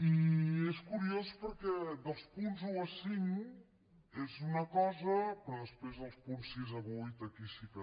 i és curiós perquè dels punts un al cinc és una cosa però després dels punts sis al vuit aquí sí que